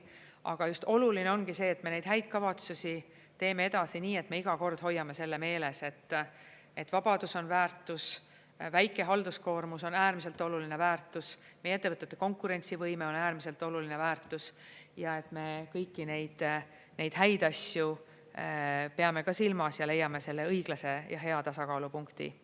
Aga oluline ongi see, et me neid häid kavatsusi teeme edasi nii, et me iga kord hoiame selle meeles, et vabadus on väärtus, väike halduskoormus on äärmiselt oluline väärtus, meie ettevõtete konkurentsivõime on äärmiselt oluline väärtus ja et me kõiki neid häid asju peame ka silmas ja leiame selle õiglase ja hea tasakaalupunkti.